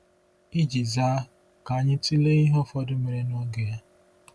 Iji zaa, ka anyị tụlee ihe ụfọdụ mere n'oge ya.